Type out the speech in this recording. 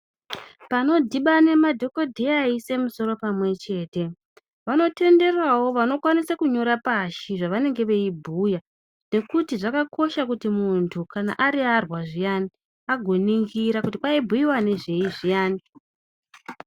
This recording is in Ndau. Panodhibane madhokodheya eiise misoro pamwe chete vanotenderawo vanokwanisa kunyora pashi zvavanenge veibhuya nekuti zvakakosha kuti muntu kana ariyarwa zviyani agoningira kuti paibhuyiwa nezvei zviyani .